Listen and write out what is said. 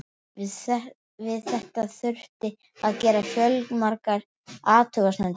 Við þetta þurfti að gera fjölmargar athugasemdir.